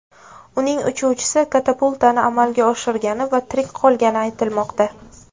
Uning uchuvchisi katapultani amalga oshirgani va tirik qolgani aytilmoqda.